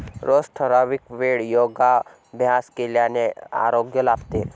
रोज ठराविक वेळ योगाभ्यास केल्याने आरोग्य लाभते.